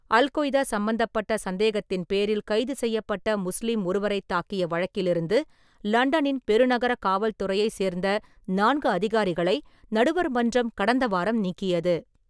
Al-Qaeda சம்பந்தப்பட்ட சந்தேகத்தின் பேரில் கைது செய்யப்பட்ட முஸ்லீம் ஒருவரை தாக்கிய வழக்கிலிருந்து லண்டனின் பெருநகர காவல்துறையை சேர்ந்த நான்கு அதிகாரிகளை நடுவர் மன்றம் கடந்த வாரம் நீக்கியது.